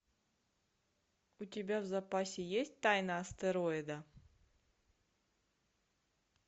у тебя в запасе есть тайна астероида